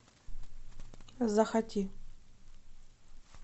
захоти